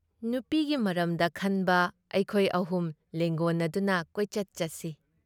ꯅꯥꯨꯄꯤꯒꯤ ꯃꯔꯝꯗ ꯈꯟꯕ ꯑꯩꯈꯣꯏ ꯑꯍꯨꯝ ꯂꯦꯡꯒꯣꯟꯅꯗꯨꯅ ꯀꯣꯏꯆꯠ ꯆꯠꯁꯤ ꯫"